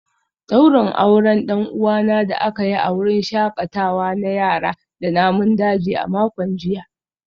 Daurin auren dan uwana da aka yi a wurin shakatawa na yara da namun daji a makon jiya